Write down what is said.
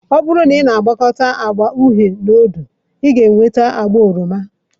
Ọ bụrụ na ị na-agwakọta agba uhie na odo, ị ga-enweta agba oroma.